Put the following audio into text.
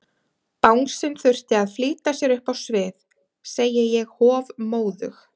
Bangsinn þurfti að flýta sér upp á svið, segi ég hofmóðug.